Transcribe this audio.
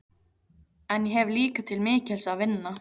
En ég hef líka til mikils að vinna.